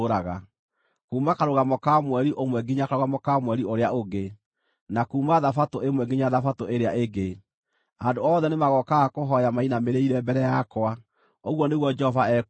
Kuuma Karũgamo ka Mweri ũmwe nginya Karũgamo ka Mweri ũrĩa ũngĩ, na kuuma Thabatũ ĩmwe nginya Thabatũ ĩrĩa ĩngĩ, andũ othe nĩmagookaga kũhooya mainamĩrĩire mbere yakwa,” ũguo nĩguo Jehova ekuuga.